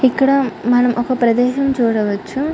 ఇక్కడ మనం ఒక ప్రదేశం చూడవచ్చు.